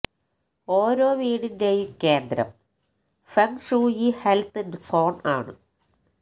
ഓരോ വീടിന്റെയും കേന്ദ്രം ഫെങ് ഷൂയി ഹെൽത്ത് സോൺ ആണ്